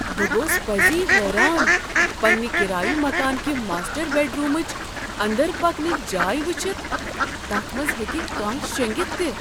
بہٕ گوس پزی حیران پنٛنہ کرایہ مکان کہ ماسٹر بیڈرومٕچ اندر پکنچ جاے وٕچھتھ، تتھ منٛز ہیٚکہ کانہہ شیٚنگتھ تہِ۔